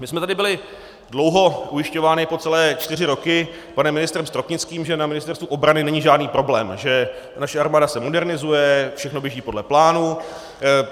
My jsme tady byli dlouho ujišťováni po celé čtyři roky panem ministrem Stropnickým, že na Ministerstvu obrany není žádný problém, že naše armáda se modernizuje, všechno běží podle plánu.